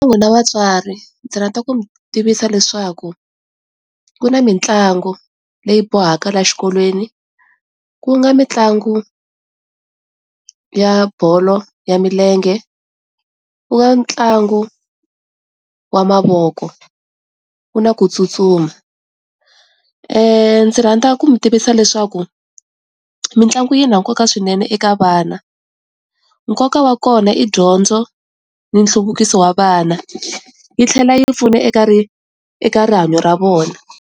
Ka n'wina vatswari ndzi rhandza ku mi tivisa leswaku ku na mitlangu leyi bohaka la xikolweni ku nga mitlangu ya bolo ya milenge, ku nga ntlangu wa mavoko, ku na ku tsutsuma ndzi rhandza ku mi tivisa leswaku mitlangu yi na nkoka swinene eka vana, nkoka wa kona i dyondzo ni nhluvukiso wa vana yi tlhela yi pfuna eka rihanyo ra vona.